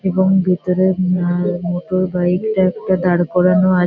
এবং ভিতরে উম আ মোটর বাইক -টা একটা দাঁড় করানো আ--